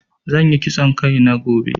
Zan yi kitson Kai na gobe.